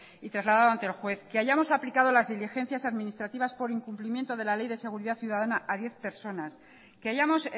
y trasladado ante el juez que hayamos aplicado las diligencias administrativas por incumplimiento de ley de seguridad ciudadana a diez personas que hayamos